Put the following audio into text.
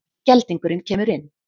Geldingurinn kemur inn.